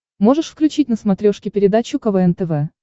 можешь включить на смотрешке передачу квн тв